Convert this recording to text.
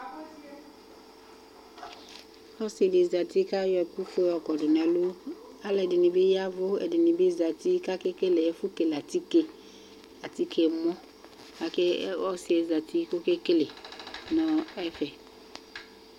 Ɔsɩ dɩ zǝtɩ kʋ ayɔ ɛkʋ ofue yɔ kɔdʋ nʋ ɛlʋ Alʋ ɛdɩnɩ bɩ yavʋ, ɛdɩnɩ bɩ zǝtɩ, kʋ ake kele ɛkʋ kele atikemɔ Ɔsɩ yɛ zǝtɩ kʋ oke kele nʋ ɛfɛ